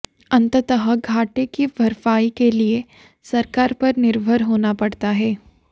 अंततः घाटे की भरपाई के लिए सरकार पर निर्भर होना पड़ता है